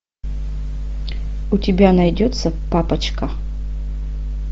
у тебя найдется папочка